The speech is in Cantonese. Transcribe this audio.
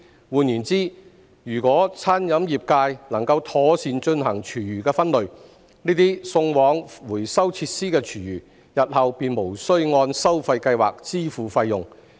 換言之，如果餐飲業界能夠妥善進行廚餘分類，這些送往回收設施的廚餘，日後便無須按收費計劃支付費用。